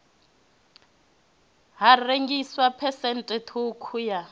ha rengiswa phesenthe ṱhukhu ya